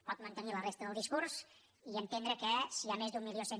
pot mantenir la resta del discurs i entendre que si hi ha més d’mil cent